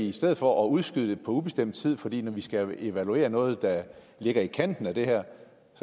i stedet for at udskyde det på ubestemt tid fordi vi skal evaluere noget der ligger i kanten af det her